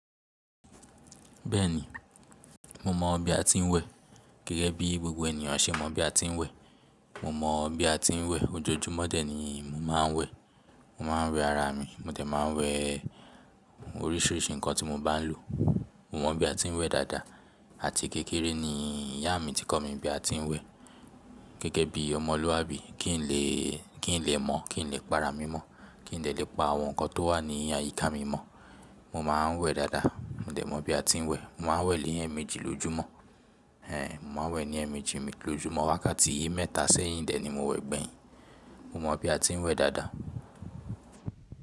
Bẹ́ẹ̀ni, mo mọ bí a ti ń wẹ, gẹ́gẹ́ bí gbogbo ènìyàn ṣe mọ bí a ti ń wẹ. Mo mọ bí a ti ń wẹ, ojoojúmọ́ dẹ̀ ni mo máa ń wẹ. Mo máa ń wẹ ara mi, mo dẹ̀ máa ń wẹ oríṣìíríṣìí ǹkan tí mo bá ń lò. Mo mọ bí a ti ń wẹ dáadáa àti kékeré ni ìyá mi tí kọ́ mi bí a ti ń wẹ. Gẹ́gẹ́ bí ọmọlúwàbí kí n lè, kí n lè mọ̀, kí n lè para mi mọ́, kí n lè lè pa àwọn ǹkan tó wà ní àyíká mi mọ́. Mo máa ń wẹ dáadáa, mo dẹ̀ mọ bí a ti ń wẹ. Mo máa ń wẹ̀ lé ẹẹ̀mẹjì lójúmọ́, ẹ́, mo máa ń wẹ̀ ní ẹẹ̀mẹjì mi lójúmọ́, wákàtí yí mẹ́ta sẹ́yìn dẹ̀ ni mo wẹ̀ gbẹ̀yìn. Mo mọ bí a ti ń wẹ dáadáa.